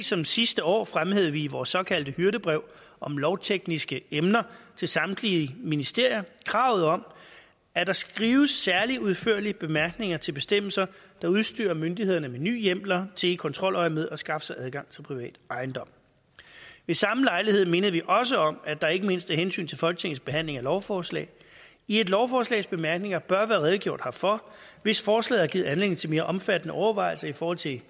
som sidste år fremhævede vi i vores såkaldte hyrdebrev om lovtekniske emner til samtlige ministerier kravet om at der skrives særlig udførlige bemærkninger til bestemmelser der udstyrer myndighederne med nye hjemler til i kontroløjemed at skaffe sig adgang til privat ejendom ved samme lejlighed mindede vi også om at der ikke mindst af hensyn til folketingets behandling af lovforslag i et lovforslags bemærkninger bør være redegjort herfor hvis forslaget har givet anledning til mere omfattende overvejelser i forhold til